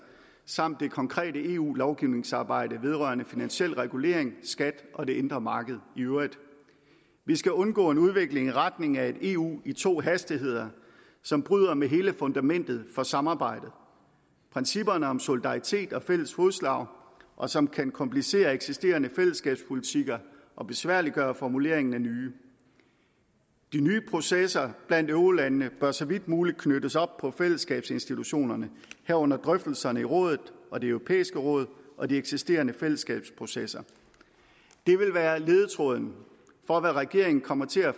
samt det konkrete eu lovgivningsarbejde vedrørende finansiel regulering skat og det indre marked i øvrigt vi skal undgå en udvikling i retning af et eu i to hastigheder som bryder med hele fundamentet for samarbejde principperne om solidaritet og fælles fodslag og som kan komplicere eksisterende fællesskabspolitikker og besværliggøre formuleringen af nye de nye processer blandt eurolandene bør så vidt muligt knyttes op på fællesskabsinstitutionerne herunder drøftelserne i rådet og det europæiske råd og de eksisterende fællesskabsprocesser det vil være ledetråden for hvad regeringen kommer til at